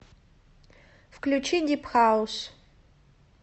включи дип хаус